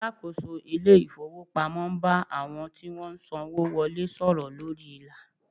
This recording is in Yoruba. Alakoso ile ifowopamo n ba awon ti won n sanwo wole soro lori ila